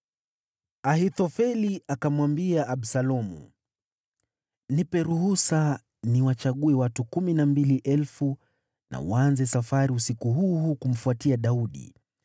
Ahithofeli akamwambia Absalomu, “Nipe ruhusa niwachague watu kumi na mbili elfu na waanze safari usiku huu huu kumfuatia Daudi.